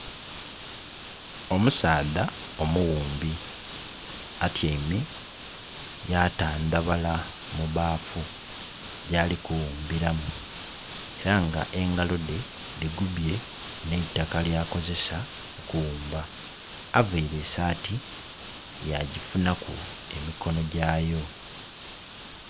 Omusaadha omughumbi atyaime yatandhabala mu baafu gyali kuwumbiramu, era nga engalo dhe dhigubye n'eitaka lyakozesa okughumba. Availe esaati yagifunaku emikonogyayo.